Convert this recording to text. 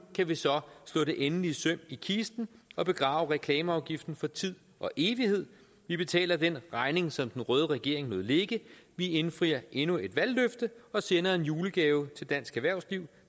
kan vi så slå det endelige søm i kisten og begrave reklameafgiften for tid og evighed vi betaler den regning som den røde regering lod ligge vi indfrier endnu et valgløfte og sender en julegave til dansk erhvervsliv